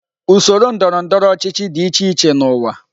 Usoro ndọrọ ndọrọ ọchịchị dị iche iche n'ụwa.